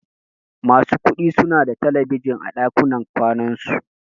Masu kuɗi suna da talabijin a ɗakunan kwanan su.